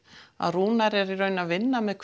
að Rúnar er í raun að vinna með